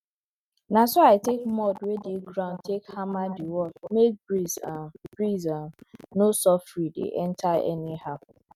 na so i take mud wey dey ground take hammer the wall make breeze um breeze um no soffri dey enter anyhow